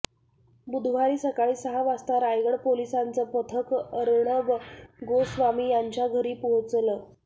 बुधवारी सकाळी सहा वाजता रायगड पोलिसांचं पथक अर्णब गोस्वामी यांच्या घरी पोहोचलं